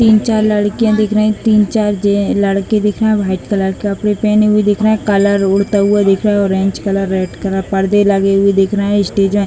तीन-चार लड़कियाँ दिख रही हैं तीन-चार जै लड़के दिख रहे हैं व्हाइट कलर का कपड़े पहने हुए दिख रहे हैं कलर उड़ता हुआ दिख रहा है ऑरेंज कलर रेड कलर पर्दे लगे हुए दिख रहे हैं स्टेज है ।